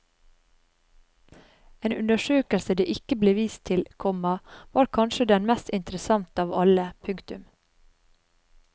En undersøkelse det ikke ble vist til, komma var kanskje den mest interessante av alle. punktum